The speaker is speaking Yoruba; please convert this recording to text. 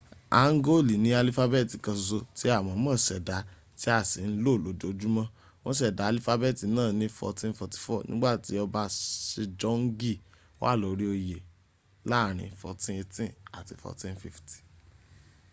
hangooli ni alifabeeti kan soso ti a moomo seda ti a si n lo lojumo. won seda alifabeeti naa ni 1444 nigbati oba sejongi wa lori oye 1418 - 1450